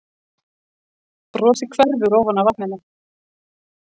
Brosið hverfur ofan af vatninu.